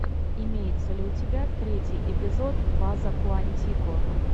имеется ли у тебя третий эпизод база куантико